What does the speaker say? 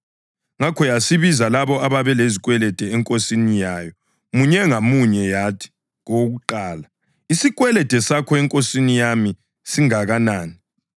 Ngakho yasibiza labo ababelezikwelede enkosini yayo munye ngamunye yathi, kowokuqala, ‘Isikwelede sakho enkosini yami singakanani?’